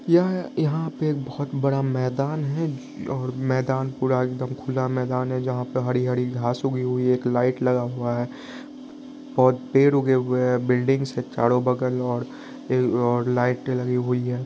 यह यहा पे एक बहुत बड़ा मैदान है और मैदान पूरा एकदम खुला मैदान है जहा पे हरी-हरी घास उगी है एक लाइट लगा हुआ है बहुत पेड़ उगे हुऐ है बिल्डिंग से चारों बगल और लाइटे लगी हुई है।